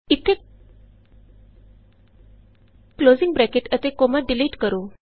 ਇਥੇ closing bracket ਅਤੇ comma delete ਕਰੋ